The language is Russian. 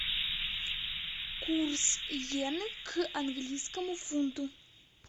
курс йены к английскому фунту